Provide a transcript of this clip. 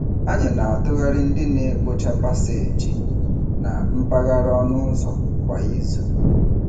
Anyị na-atụgharị ndị na-ekpocha paseeji na mpaghara ọnụụzọ kwa izu.